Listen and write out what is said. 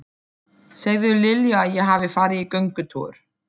Segðu Lilju að ég hafi farið í göngutúr.